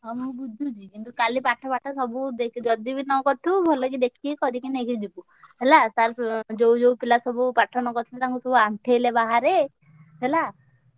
ହଁ ମୁଁ ବୁଝୁଛି କିନ୍ତୁ କାଲି ପାଠ ସାଠ ଦେ ଯଦି ବି ନ କରି ଥିବୁ ଭଲକି ଦେଖିକି କରକି ନେଇକି ଯିବୁ। ହେଲା sir ଉଁ ଯୋଉ ଯୋଉ ପିଲା ସବୁ ପାଠ ନ କରି ଛନ୍ତି ତାଙ୍କୁ ସବୁ ଆଣ୍ଠେଇଲେ ବାହାରେ ହେଲା।